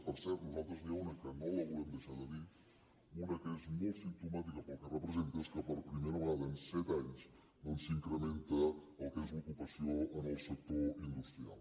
per cert nosaltres n’hi ha una que no la volem deixar de dir una que és molt simptomàtica pel que representa que és que per primera vegada en set anys doncs s’incrementa el que és l’ocupació en el sector industrial